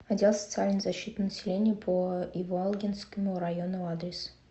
отдел социальной защиты населения по иволгинскому району адрес